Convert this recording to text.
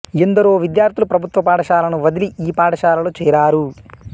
ఎందరో విద్యార్థులు ప్రభుత్వ పాఠశాలలను వదిలి ఈ పాఠశాలలో చేరారు